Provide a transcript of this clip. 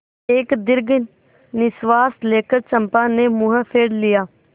एक दीर्घ निश्वास लेकर चंपा ने मुँह फेर लिया